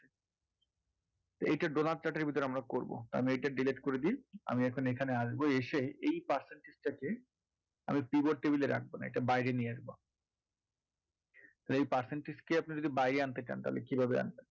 এইটা donut chart এর ভিতরে আমরা করবো আমি এটা delete করে দিই আমি এখন এখানে আসবো এসে এই percentage টাকে আমি pivot table এ রাখবো না এটা বাইরে নিয়ে আসবো এই percentage কে আপনি যদি বাইরে আনতে চান তাহলে কিভাবে আনবেন